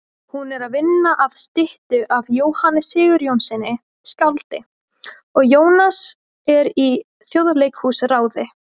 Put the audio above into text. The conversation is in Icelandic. Hún er að vinna að styttu af Jóhanni Sigurjónssyni skáldi og Jónas er í Þjóðleikhúsráði.